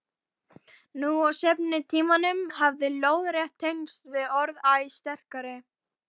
Nú á seinni tímum hafa lóðrétt tengsl orðið æ sterkari.